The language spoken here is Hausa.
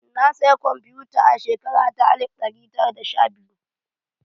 Na saya kwamfuta a shekara ta alif ɗari tara da sha biyu